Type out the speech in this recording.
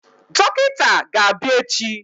Dọkịta ga-abịa echi.